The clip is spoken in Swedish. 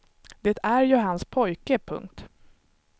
Det är ju hans pojke. punkt